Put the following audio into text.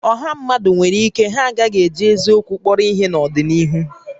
Ọ̀hà mmadụ nwèrè íké ha a gaghị eji eziokwu kpọrọ ihé n'ọdịnihu